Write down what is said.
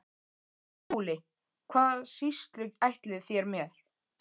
SKÚLI: Hvaða sýslu ætlið þér mér?